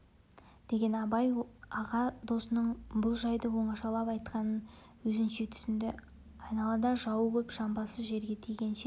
деген абай аға досының бұл жайды оңашалап айтқанын өзінше түсінді айналада жауы көп жамбасы жерге тигенше